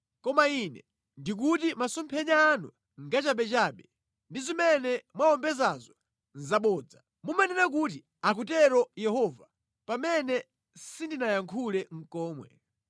Koma Ine ndikuti masomphenya anu ngachabechabe ndi zimene mwawombedzazo nʼzabodza. Mumanena kuti, ‘Akutero Yehova,’ pamene sindinayankhule nʼkomwe.